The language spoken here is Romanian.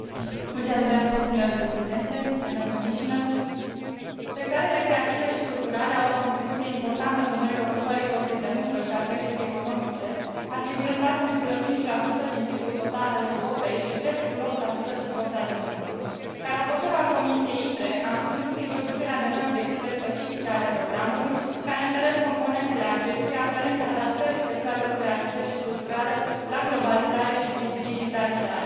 Mulțumesc domnule președinte, doamnă comisar, sectoarele creative și culturale au o contribuție importantă în domeniul ocupării forței de muncă și al creșterii economice, asigurând 4,5 din PIB ul total al Europei și 3,8 din forța de muncă. Ca raportor al Comisiei ITRE, am susținut introducerea de noi obiective specifice ale programului, care întăresc componentele acestuia aferente adaptării sectoarelor creative și culturale la globalizare și digitalizare.